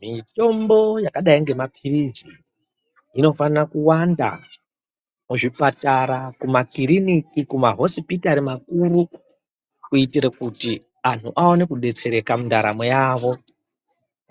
Mitombo yakadai ngemapiritsi inofana kuwanda muzvipatara, kumakiriniki, kumahosipitari makuru kuitire kuti antu aone kudetsereka mundaramo yavo,